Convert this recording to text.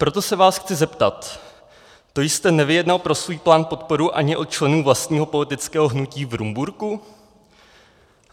Proto se vás chci zeptat: To jste nevyjednal pro svůj plán podporu ani od členů vlastního politického hnutí v Rumburku?